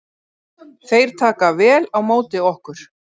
Þeir taka vel á móti okkur